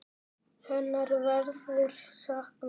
Hennar verður saknað.